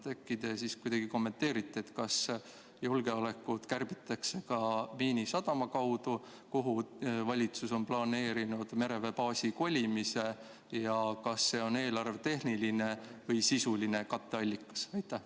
Äkki te kuidagi kommenteerite, kas julgeolekut kärbitakse ka Miinisadama kaudu, kuhu valitsus on planeerinud mereväebaasi kolimise, ja kas see on eelarvetehniline või sisuline katteallikas?